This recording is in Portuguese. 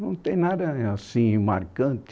Não tem nada assim marcante.